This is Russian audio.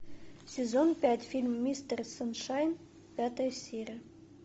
сезон пять фильм мистер саншайн пятая серия